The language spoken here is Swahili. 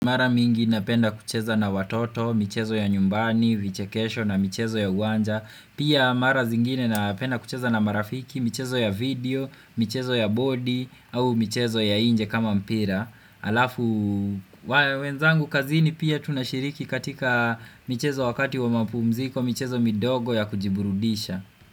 Mara mingi napenda kucheza na watoto, michezo ya nyumbani, vichekesho na michezo ya uwanja. Pia mara zingine napenda kucheza na marafiki, michezo ya video, michezo ya bodi au michezo ya inje kama mpira Alafu wenzangu kazini pia tunashiriki katika michezo wakati wa mapumziko, michezo midogo ya kujiburudisha.